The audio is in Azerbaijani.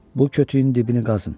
Bu kötüyün dibini qazın.